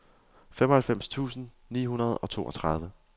femoghalvfems tusind ni hundrede og toogtredive